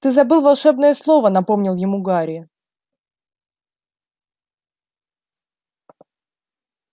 ты забыл волшебное слово напомнил ему гарри